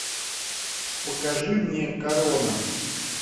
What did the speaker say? покажи мне корона